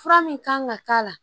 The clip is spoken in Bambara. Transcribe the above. Fura min kan ka k'a la